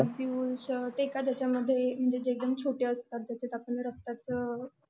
ampules ते कशामध्ये आपण एकदम ते छोटं असतं त्याच्यामध्ये आपण रक्ताचं